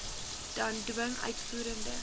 dan dwing uitvoerende